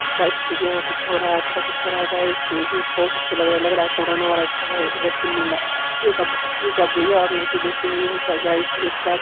गाइस देखिए यहां कुछ हो रहा है अच्छा कुछ हो रहा है तो देखिए बहुत अच्छी लग रही लग रहा है | कोरोना वायरस का वैक्सीन मिल रहा है | ए ये क्या बुढ़िया और लड़की बैठी हुई है सा गाइस एक साथ |